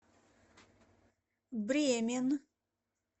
бремен